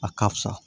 A ka fisa